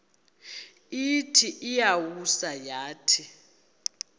ithi iyawisa yathi